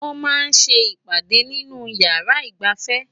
wọ́n máa ń́ ṣe ìpàdè nínú ìyàrá ìgbafẹ́